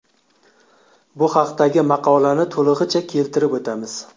Bu haqdagi maqolani to‘lig‘icha keltirib o‘tamiz.